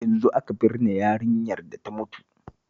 Yanzu aka binne yarinyar da ta mutu